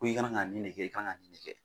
Ko i ka kan ka nin de kɛ i ka kan ka nin de kɛ.